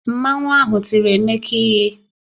Mmanwu ahụ tiri Emeka ihe